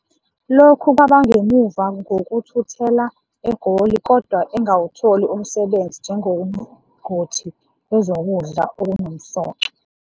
Lokhu kwaba ngemuva ngokuthuthela eGoli kodwa engawutholi umsebenzi njengongoti wezokudla okunomsoco.